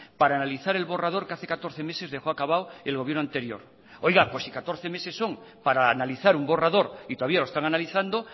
para analizar el borrador que hace catorce meses dejó acabado el gobierno anterior oiga pues si catorce meses son para analizar un borrador y todavía lo están analizando